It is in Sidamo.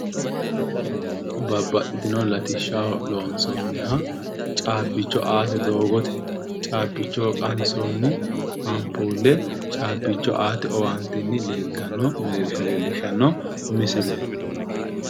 Babbaxxitino latishsha loonsoonniha caabbicho aate doogote caabbicho qansoonni ampuulle caabbicho aate owaantenni leeltanno mereersha leellishshanno misileeti.